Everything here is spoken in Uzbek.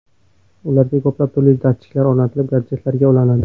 Ularga ko‘plab turli datchiklar o‘rnatilib, gadjetlarga ulanadi.